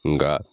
Nka